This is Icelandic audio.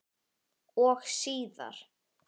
Og síðar.